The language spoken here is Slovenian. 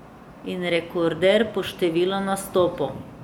In rekorder po številu nastopov.